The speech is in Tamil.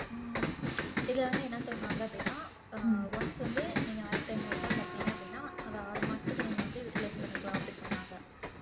இதில வந்து என்ன சொன்னாங்க அப்படின்னா அஹ் once வந்து நீங்க ஆயிரத்தி ஐந்நூறு ரூபாய் கட்டுனீங்க அப்படின்னா அது ஆறு மாசத்துக்கு நீங்க வந்து utilize பண்ணிக்கலாம் அப்படின்னு சொன்னாங்க